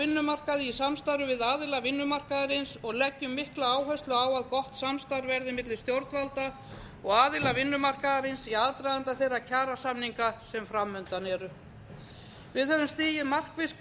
vinnumarkaði í samstarfi við aðila vinnumarkaðarins og leggjum mikla áherslu á að gott samstarf verði milli stjórnvalda og aðila vinnumarkaðarins í aðdraganda þeirra kjarasamninga sem fram undan eru við höfum stigið markviss skref í